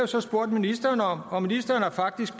så spurgt ministeren om og ministeren har faktisk